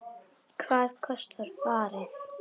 Hvað kostar farið?